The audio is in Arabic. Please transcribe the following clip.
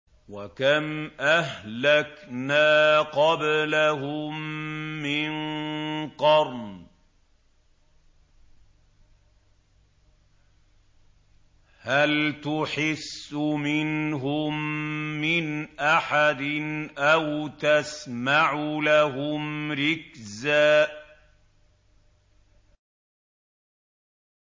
وَكَمْ أَهْلَكْنَا قَبْلَهُم مِّن قَرْنٍ هَلْ تُحِسُّ مِنْهُم مِّنْ أَحَدٍ أَوْ تَسْمَعُ لَهُمْ رِكْزًا